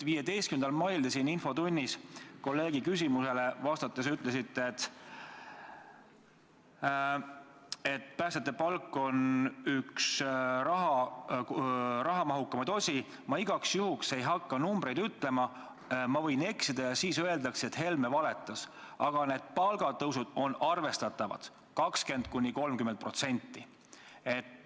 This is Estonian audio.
15. mail infotunnis kolleegi küsimusele vastates te ütlesite, et päästjate palk on üks rahamahukamaid osi ja te ei hakka igaks juhuks numbreid ütlema, sest võite eksida ja siis öeldakse, et Helme valetas, aga palgatõus on arvestatav, 20–30%.